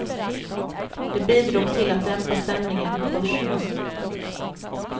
Det bidrog till att dämpa stämningen på börserna.